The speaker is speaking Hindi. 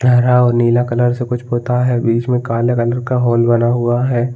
हरा और नीला कलर से कुछ पुता है बीच में काले कलर का होल बना हुआ है।